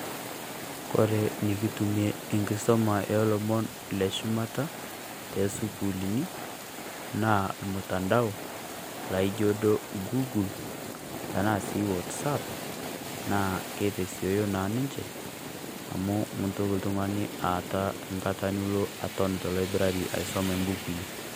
Kore enekitumie enkisuma oo lomon leshumata too sukuuluni naa, ormutandao laijio duo gugul ashu wasap naa keitasioyo ninche amu miigil oltung'ani aata engata Nilo aton teLaiburari aisum embukui.